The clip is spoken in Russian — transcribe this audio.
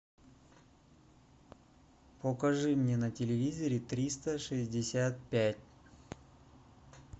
покажи мне на телевизоре триста шестьдесят пять